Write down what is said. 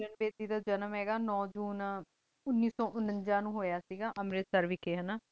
ਗੀ ਜਿਦਾਂ ਕੀ ਕੀਰੇਨ ਵਾਦੀ ਦਾ ਜਨਮ ਦੇਣ ਹਨ ਗਾ ਨੁਓੰ ਸੂਚੀ ਉਨੀ ਸੋ ਉਨਾਜਾ ਨੂ ਹੂਯ ਸੇ ਗਾ ਅਮਰਤ ਸੇਰ ਵੇਚ ਹਾਨ